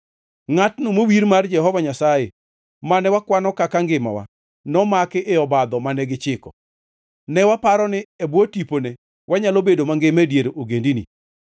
Ngʼatno mowir mar Jehova Nyasaye, mane wakwano kaka ngimawa, nomaki e obadho mane gichiko. Ne waparo ni e bwo tipone wanyalo bedo mangima e dier ogendini.